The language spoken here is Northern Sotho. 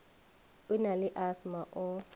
o na le asthma o